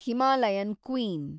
Himalayan queen